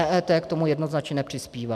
EET k tomu jednoznačně nepřispívá.